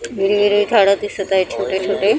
हिरवी हिरवी झाडं दिसत आहे छोटे छोटे .